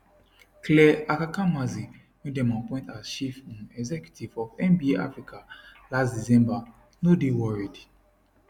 clare akamanzi wey dem appoint as chief um executive of nba africa last december no dey worried